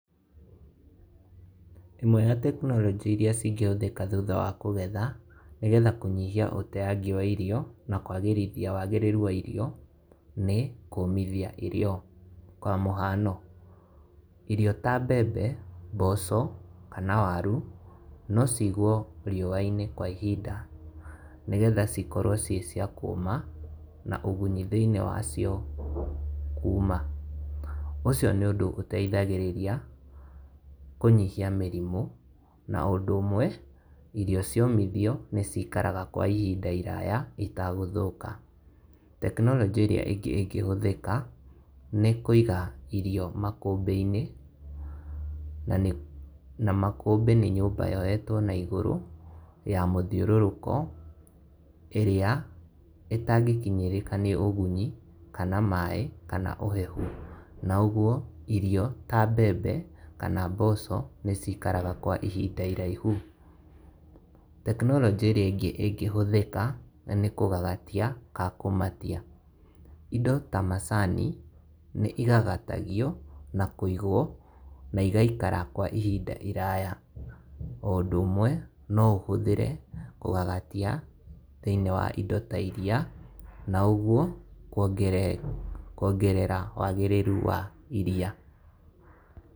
ĩmwe ya tekinoronjĩ iria cingĩhũthĩka thutha wa kũgetha nĩgetha kũnyihia ũteyangi wa irio na kwagĩrithia wagĩrĩru wa irio, nĩ kũmithia irio. Kwa mũhano, irio ta mbembe, mboco kana waru, no cigwo riũwainĩ kwa ihinda nĩgetha cikorwo ciĩ cia kũma na ũgunyu thĩinĩ wacio kuma. Ũcio nĩ ũndũ ũteithagĩrĩria kũnyihia mĩrimũ na ũndũ ũmwe irio ciomithio nĩ cikaraga kwa ihinda iraya itagũthũka. Tekinoronjĩ ĩrĩa ĩngĩ ĩngĩhũthĩka nĩ kũiga irio makũmbĩinĩ na makũmbĩinĩ nĩ nyũmba yoĩtwo na igũrũ ya mũthiũrũrũko, ĩrĩa ĩtangĩkinyĩrĩka nĩ ũgunyi kana maaĩ, kana ũhehu. Na ũguo irio ta mbembe kana mboco nĩcikaraga kwa ihinda iraihu. Tekinoronjĩ ĩrĩa ingĩ ĩngĩhũthĩka nĩ kũgagatia kaa kũmatia, indo ta macani nĩigagatagio na kũigwo na igaikara kwa ihinda iraya. O ũndũ ũmwe no ũhũthĩre kũgagatia thĩinĩ wa indo ta iria na ũguo kuongerera wagĩrĩru wa iria.